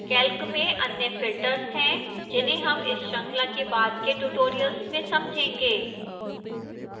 calc में अन्य filters हैं जिन्हें हम इस श्रृंखला के बाद के tutorials में समझेंगे